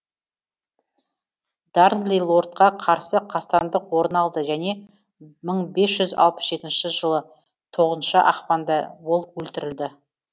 дарнли лордқа қарсы қастандық орын алды және мың бес жүз алпыс жетінші жылы тоғыз ақпанда ол өлтірілді